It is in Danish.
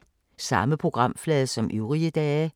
Samme programflade som øvrige dage